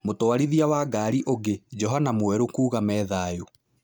Mutwarithĩa wa ngarĩ ũngĩ, Johana Mwerũkuuga me thayũ.